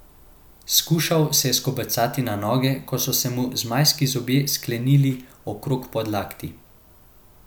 Skušal se je skobacati na noge, ko so se mu zmajski zobje sklenili okrog podlakti.